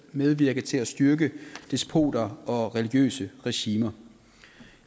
medvirke til at styrke despoter og religiøse regimer